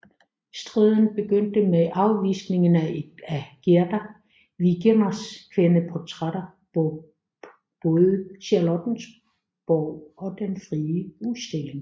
Striden begyndte med afvisningen af et af Gerda Wegeners kvindeportrætter på både Charlottenborg og Den Frie Udstilling